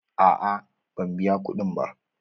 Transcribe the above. A'a ban biya kuɗin ba.